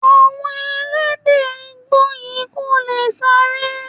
Àwọn Ẹlẹ́dẹ̀ Igbó yìí kò lè sáré.